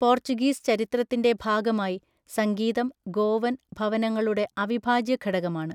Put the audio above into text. Portuguese ചരിത്രത്തിൻ്റെ ഭാഗമായി സംഗീതം ഗോവൻ ഭവനങ്ങളുടെ അവിഭാജ്യ ഘടകമാണ്.